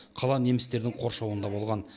қала немістердің қоршауында болған